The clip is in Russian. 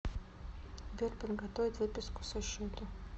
сбер подготовить выписку со счета